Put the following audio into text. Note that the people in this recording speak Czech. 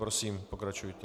Prosím, pokračujte.